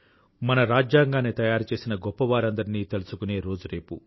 మన రాజ్యాంగాన్ని తయారుచేసిన గొప్పవారందరినీ తలుచుకునే రోజు రేపు